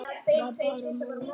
Var bara mottó.